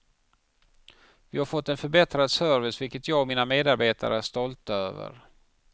Vi har fått en förbättrad service, vilket jag och mina medarbetare är stolta över.